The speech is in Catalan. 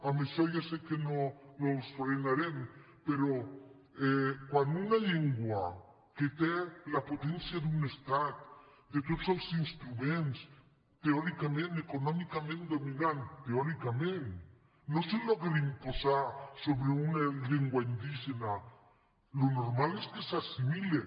amb això ja sé que no els frenarem però quan una llengua que té la potència d’un estat de tots els instruments teòri·cament econòmicament dominant teòricament no s’aconsegueix imposar sobre una llengua indígena el normal és que s’hi assimile